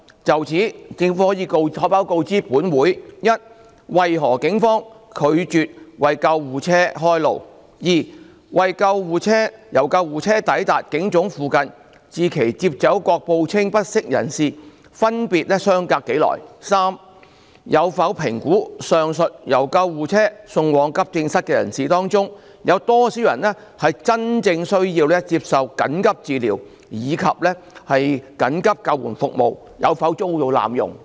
就此，政府可否告知本會：一為何警方拒絕為救護車開路；二由救護車抵達警總附近至其接走各報稱不適者分別相隔多久；及三有否評估，上述由救護車送往急症室的人士當中，有多少人真正需要接受緊急診治，以及緊急救護服務有否遭濫用？